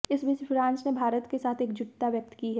इस बीच फ्रांस ने भारत के साथ एकजुटता व्यक्त की है